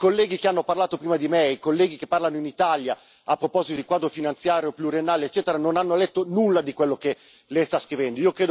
I colleghi che hanno parlato prima di me, i colleghi che parlano in Italia a proposito di quadro finanziario pluriennale eccetera, non hanno letto nulla di quello che Lei sta scrivendo.